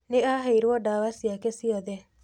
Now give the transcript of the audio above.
Nĩ aheirwo ndawa ciake ciothe.